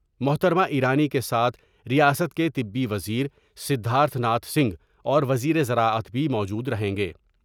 محترمہ ایرانی کے ساتھ ریاست کے طبی وزیر سدھارتھ ناتھ سنگھ اور وزیر زراعت بھی موجود رہیں گے ۔